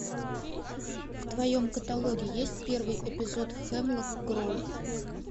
в твоем каталоге есть первый эпизод хемлок гроув